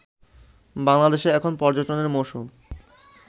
বাংলাদেশে এখন পর্যটনের মৌসুম